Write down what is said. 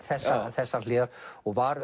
þessar hliðar og var